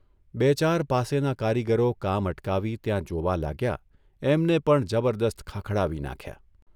બે ચાર પાસેના કારીગરો કામ અટકાવી ત્યાં જોવા લાગ્યા એમને પણ જબરદસ્ત ખખડાવી નાંખ્યા.